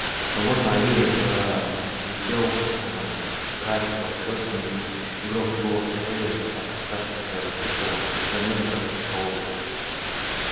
но вот на аллее заскрипел гравий под колёсами и негромкий голос эллин отпускавшей кучера донёсся в столовую